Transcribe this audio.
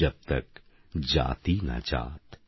যবতকজাতিনাজাত